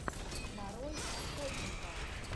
нарой охотника